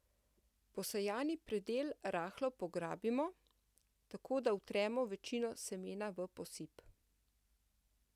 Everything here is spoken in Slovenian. Posejani predel rahlo pograbimo, tako da vtremo večino semena v posip.